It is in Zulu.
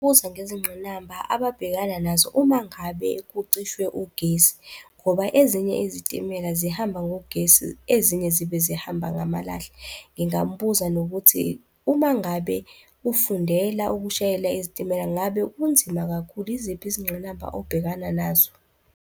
Ubuze ngezingqinamba ababhekana nazo uma ngabe kucishwe ugesi ngoba ezinye izitimela zihamba ngogesi, ezinye zibe zihamba ngamalahle. Ngingambuza nokuthi uma ngabe ufundela ukushayela izitimela, ngabe kunzima kakhulu? Yiziphi izingqinamba obhekana nazo?